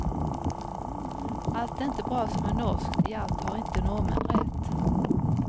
Allt är inte bra som är norskt, i allt har inte norrmän rätt.